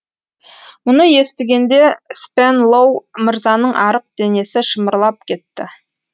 мұны естігенде спенлоу мырзаның арық денесі шымырлап кетті